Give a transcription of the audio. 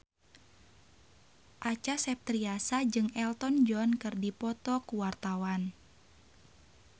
Acha Septriasa jeung Elton John keur dipoto ku wartawan